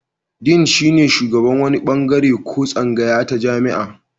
Din shine shugaban wani bangare ko tsangaya ta jami'a.